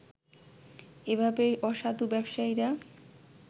এভাবেই অসাধু ব্যবসায়ীরা